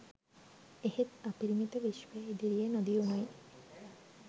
එහෙත් අපිරිමිත විශ්වය ඉදිරියේ නොදියුනුයි